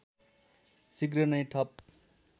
शीघ्र नै ठप